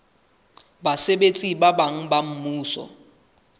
basebetsi ba bang ba mmuso